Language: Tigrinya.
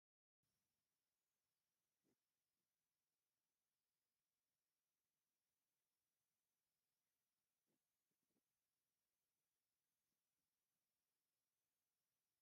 ዋው ደስ ክብል በዝሒ ዘለዎም ፃዕዳ ሕበሪ ዝሓዙ ፈናጅልን ብጣዕሚ ዓብይ ዝኮነ ካብ ሓመድ ናይ ሸክላ ዝተሰረሐ ጀበና እውን ኣሎ። እዙይ ስነ ስርዓት ኣቀራርባ እንታይ ይመስለኩም?